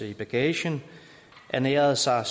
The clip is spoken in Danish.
i bagagen og ernærede sig